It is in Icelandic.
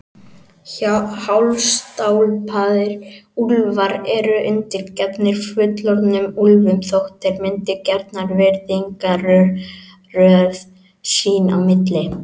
Hálfstálpaðir úlfar eru undirgefnir fullorðnum úlfum þótt þeir myndi gjarnan virðingarröð sín á milli.